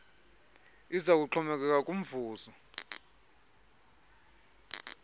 iza kuxhomekeka kumvuzo